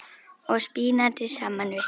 og spínati saman við.